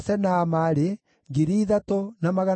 na Rezini, na Nekoda, na Gazamu,